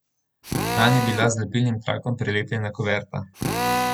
Nanj je bila z lepilnim trakom prilepljena kuverta.